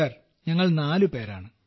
sir ഞങ്ങൾ നാലുപേരാണ്